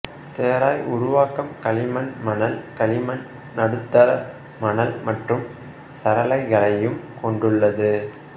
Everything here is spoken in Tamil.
தெராய் உருவாக்கம் களிமண் மணல் களிமண் நடுத்தர மணல் மற்றும் சரளைகளையும் கொண்டுள்ளது